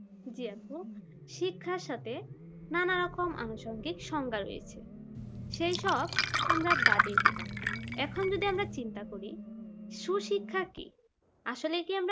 জি আপু শিক্ষার সাথে নানা রকম আনুষঙ্গিক সংজ্ঞা রয়েছে সেইসব আমরা বাদই দিলাম এখন যদি আমরা চিন্তা করি সুশিক্ষা কি